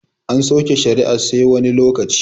An sauke shari'ar sai wani lokaci